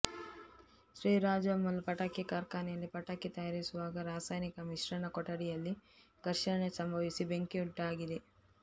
ಶ್ರೀ ರಾಜಮ್ಮಲ್ ಪಟಾಕಿ ಕಾರ್ಖಾನೆಯಲ್ಲಿ ಪಟಾಕಿ ತಯಾರಿಸುವಾಗ ರಾಸಾಯನಿಕ ಮಿಶ್ರಣ ಕೊಠಡಿಯಲ್ಲಿ ಘರ್ಷಣೆ ಸಂಭವಿಸಿ ಬೆಂಕಿಯುಂಟಾಗಿದೆ